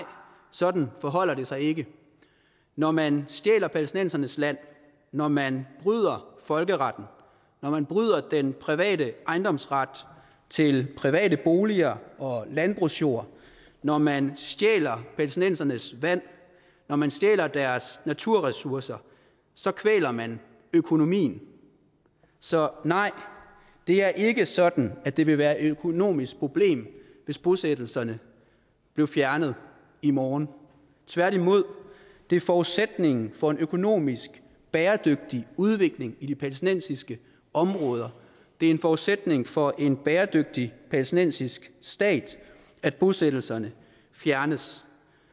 sådan forholder det sig ikke når man stjæler palæstinensernes land når man bryder folkeretten når man bryder den private ejendomsret til private boliger og landbrugsjord når man stjæler palæstinensernes vand når man stjæler deres naturressourcer så kvæler man økonomien så nej det er ikke sådan at det ville være et økonomisk problem hvis bosættelserne blev fjernet i morgen tværtimod det er forudsætningen for en økonomisk bæredygtig udvikling i de palæstinensiske områder det er en forudsætning for en bæredygtig palæstinensisk stat at bosættelserne fjernes